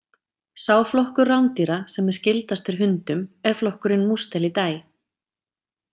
Sá flokkur rándýra sem er skyldastur hundum er flokkurinn Mustelidae.